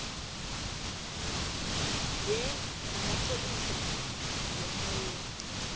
ye namapholisa wemmoyeni